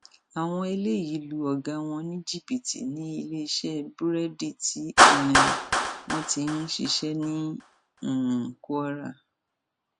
àwọn eléyìí lu ọgá wọn ní jìbìtì níléeṣẹ búrẹdì tí um wọn ti ń ṣiṣẹ ní um kwara